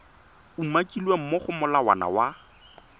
umakilweng mo go molawana wa